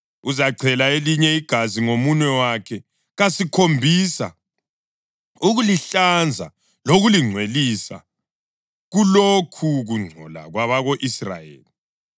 Uzachela elinye igazi ngomunwe wakhe kasikhombisa ukulihlanza lokulingcwelisa kulokhu kungcola kwabako-Israyeli.